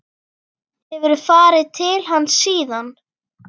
Hefurðu farið til hans síðan?